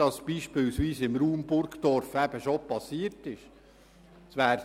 Das ist beispielsweise im Raum Burgdorf bereits geschehen.